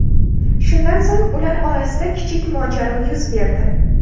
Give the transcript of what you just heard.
Shundan so‘ng ular orasida kichik mojaro yuz berdi.